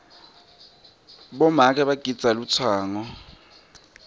bomake bagidza lutsango